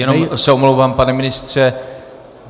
Jenom se omlouvám, pane ministře.